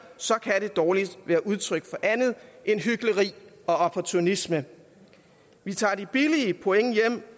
kan det dårligt være udtryk for andet end hykleri og opportunisme vi tager de billige point hjem